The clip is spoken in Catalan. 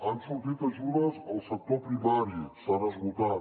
han sortit ajudes al sector primari s’han esgotat